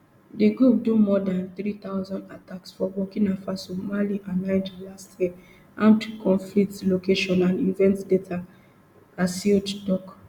di group do more dan three thousand attacks for burkina faso mali and niger last year armed conflict location and event data acled tok